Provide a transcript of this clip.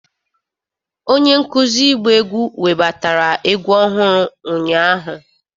Onye nkuzi ịgba egwu webatara egwu ọhụrụ ụnyahụ.